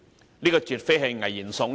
這番話絕非危言聳聽。